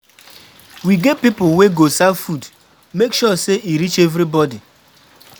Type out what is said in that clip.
We get pipo wey go serve food, make sure sey e reach everybodi.